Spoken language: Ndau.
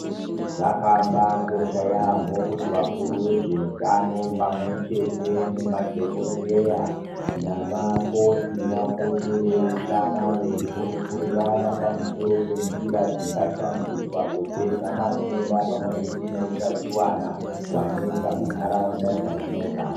Zvakambaakosha yaamho kuti vakuru vezveutano pamwe nemadhokodheya naavakoti vapote veiungana veikurukurirana pamusoro penjira dzingashandiswa kupedza matenda pamwe chete neutachiwona hwanetsa munharaunda dzatinogara.